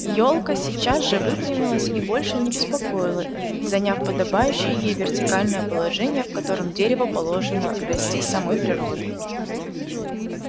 ёлка сейчас же выпрямилась и больше не беспокоила их заняв подобающее ей вертикальное положение в котором дереву положено расти самой природой